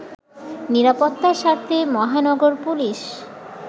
নিরাপত্তার স্বার্থে মহানগর পুলিশ